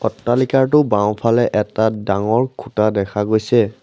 অট্টালিকাটোৰ বাওঁফালে এটা ডাঙৰ খুঁটা দেখা গৈছে।